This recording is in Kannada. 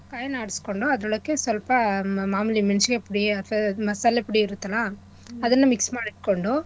ಕಾಯ್ನ ಆಡ್ಸೋಂಡು ಅದ್ರೊಳಕ್ಕೆ ಸ್ವಲ್ಪ ಮಾಮೂಲಿ ಮೆಣ್ಕಾಯ್ ಪುಡಿ ಅಥವಾ ಮಸಾಲೆ ಪುಡಿ ಇರತ್ತಲಾ ಅದನ್ನ mix ಮಾಡಿಟ್ಕೊಂಡು.